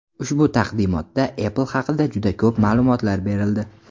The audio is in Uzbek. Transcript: Ushbu taqdimotda Apple haqida juda ko‘p ma’lumot berildi.